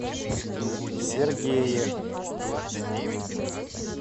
сергее